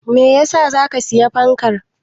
Meyasa zaka siyi fankar?